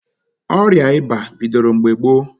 Ọrịa ịba bidoro mgbe gboo.